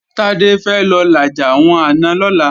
Tádé fẹ́ lọ làjà àwọn àna lọ́la